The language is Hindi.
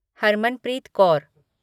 हरमनप्रीत कौर